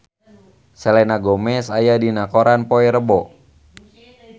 Selena Gomez aya dina koran poe Rebo